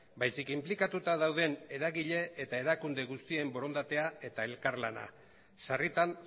baizik inplikatuta dauden eragile eta erakunde guztien borondatea eta elkar lana sarritan